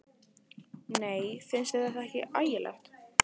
Nei, finnst þér þetta ekki ægilegt?